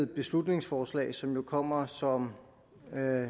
beslutningsforslag som jo kommer som